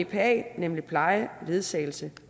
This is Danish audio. bpa nemlig pleje ledsagelse